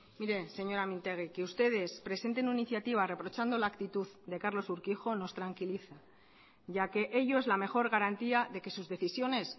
mire señora mintegi que ustedes presenten una iniciativa reprochando la actitud de carlos urquijo nos tranquiliza ya que ello es la mejor garantía de que sus decisiones